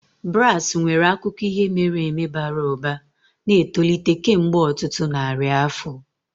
Brass nwere akụkọ ihe mere eme bara ụba, na-etolite kemgbe ọtụtụ narị afọ